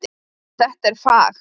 Þetta er fag.